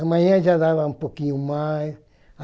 Amanhã já dava um pouquinho mais.